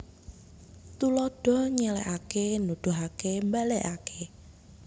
Tuladha nyèlèhaké nuduhaké mbalèkaké